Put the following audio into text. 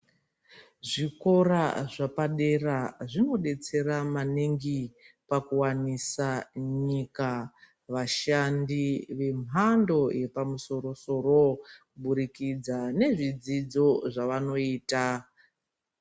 Zvikora zvapadera zvinobetsera maningi pakuwanisa nyika vashandi vemhando yepamusoro kubudikidza nezvidzidzo zvavanoita.